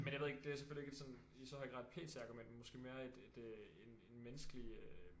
Men jeg ved ikke det er selvfølgelig ikke et sådan i så høj grad et PT argument men måske mere et et øh en en menneskelig øh